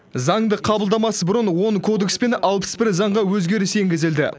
заңды қабылдамас бұрын он кодекс пен алпыс бір заңға өзгеріс енгізілді